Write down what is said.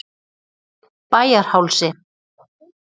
Bæjarhálsi